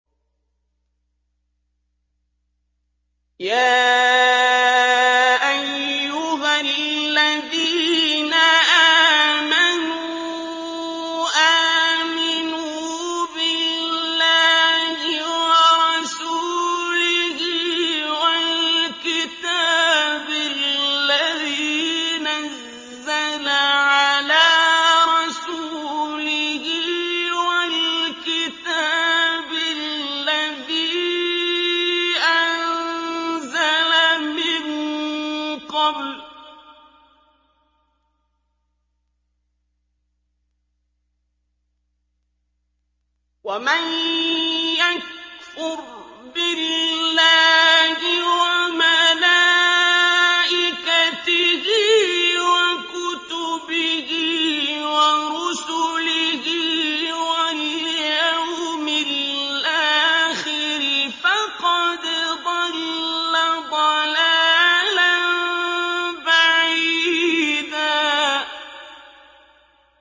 يَا أَيُّهَا الَّذِينَ آمَنُوا آمِنُوا بِاللَّهِ وَرَسُولِهِ وَالْكِتَابِ الَّذِي نَزَّلَ عَلَىٰ رَسُولِهِ وَالْكِتَابِ الَّذِي أَنزَلَ مِن قَبْلُ ۚ وَمَن يَكْفُرْ بِاللَّهِ وَمَلَائِكَتِهِ وَكُتُبِهِ وَرُسُلِهِ وَالْيَوْمِ الْآخِرِ فَقَدْ ضَلَّ ضَلَالًا بَعِيدًا